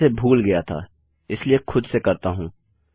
मैं इसे भूल गया था इसलिए इसे खुद से करता हूँ